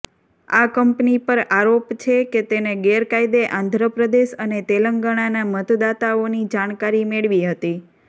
આ કંપની પર આરોપ છે કે તેને ગેરકાયદે આંધ્રપ્રદેશ અને તેલંગાણાના મતદાતાઓની જાણકારી મેળવી હતી